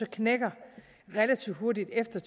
knækker relativt hurtigt efter